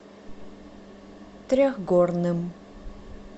трехгорным